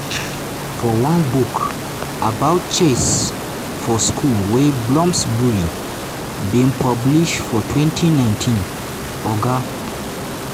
for one book about chess for school wey bloomsbury bin publish for 2019 oga